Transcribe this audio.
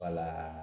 Wala